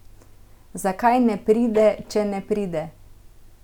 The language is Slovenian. Zakaj ne pride, če ne pride?